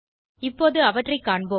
இப்போது அவற்றை காண்போம்